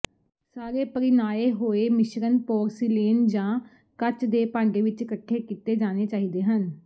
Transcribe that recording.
ਸਾਰੇ ਪਰਿਣਾਏ ਹੋਏ ਮਿਸ਼ਰਣ ਪੋਰਸਿਲੇਨ ਜਾਂ ਕੱਚ ਦੇ ਭਾਂਡੇ ਵਿੱਚ ਘੱਟੇ ਕੀਤੇ ਜਾਣੇ ਚਾਹੀਦੇ ਹਨ